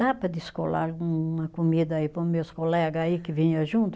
Dá para descolar um uma comida aí para os meus colega aí que vinha junto?